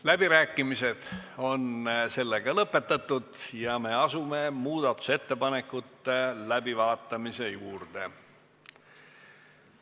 Läbirääkimised on lõppenud ja me asume muudatusettepanekute läbivaatamise juurde.